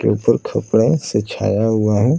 के ऊपर खपड़ा से छाया हुआ है --